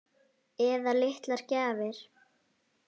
Eða litlar gjafir.